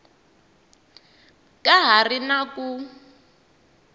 ka ha ri na ku